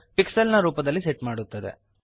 ಮತ್ತು ಪಿಕ್ಸೆಲ್ಸ್ ನಲ್ಲಿ ಸೆಟ್ ಮಾಡುತ್ತದೆ